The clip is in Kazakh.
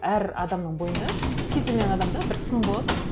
әр адамның бойында кез келген адамда бір сын болады ғой